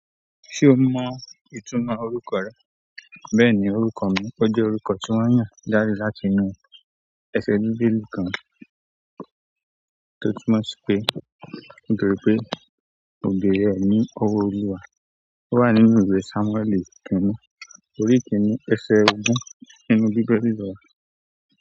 Ṣé o mọ ìtumọ̀ orúkọ rẹ? Bẹ́ẹ̀ni, orúkọ mi, ó jẹ́ orúkọ tí wọ́n mu jáde láti inú ẹsẹ bíbélì kan tó túmọ̀ sí pé "mo beere ẹ ní ọwọ́ Olúwa." Ó wà nínú ìwé Sámúẹ́lì kinni, orí kinni, ẹsẹ ogún, kẹrin dídẹ̀gbẹ̀rọ.